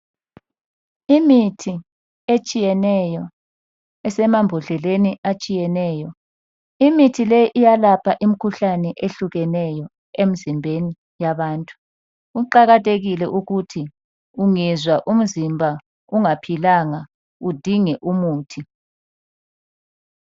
Imithi etshiyeneyo esemambodleleni atshiyeneyo. Imithi leyi iyalapha imikhuhlane ehlukeneyo emzimbeni yabantu. Kuqakathekile ukuthi ungezwa umzimba ungaphilanga udinge umuthi.